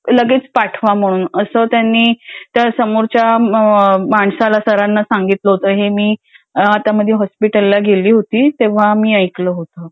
लगेच पाठवा म्हणून असं त्यांनी त्या समोरच्या माणसाला सरांना सांगितलं होतं. हे मी आता मध्ये हॉस्पिटलला गेली होती. तेव्हा मी ऐकलं होतं.